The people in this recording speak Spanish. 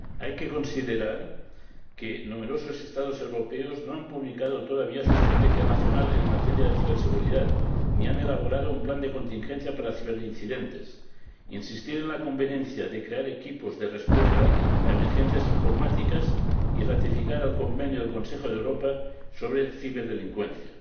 Hay que considerar que numerosos Estados europeos no han publicado todavía su estrategia nacional en materia de ciberseguridad, ni han elaborado un plan de contingencia para ciberincidentes cabe insistir en la conveniencia de crear equipos de respuesta a emergencias informáticas y ratificar el Convenio del Consejo de Europa sobre la Ciberdelincuencia.